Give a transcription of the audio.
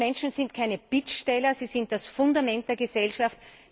Junge Menschen sind keine Bittsteller, sie sind das Fundament der Gesellschaft.